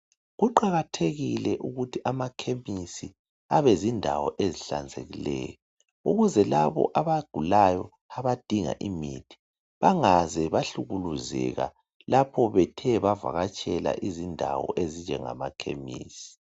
Kuqakathekile ukuthi amakhemisi Abe zindawo ezihlanzekileyo. Ukuze labo abagulayo abadinga imithi ,bangaze bahlukuluzeka lapho Bethe bavakatshela izindawo ezinjengamakhemisi.